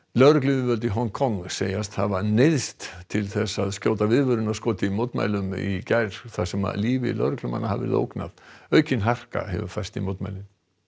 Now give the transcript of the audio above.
lögregluyfirvöld í Hong Kong segjast hafa neyðst til að skjóta viðvörunarskoti í mótmælum í gær þar sem lífi lögreglumanna hafi verið ógnað aukin harka hefur færst í mótmælin